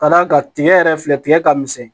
Ka d'a kan tigɛ yɛrɛ filɛ tigɛ ka misɛn